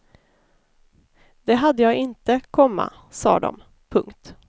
Det hade jag inte, komma sade de. punkt